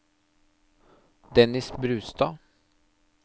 Dennis Brustad